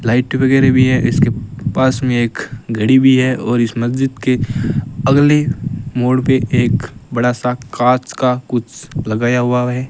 Light वगैरह भी है इसके पास में एक घड़ी भी है और इस मस्जिद के अगले मोड़ पे एक बड़ा सा कांच का कुछ लगाया हुआ है।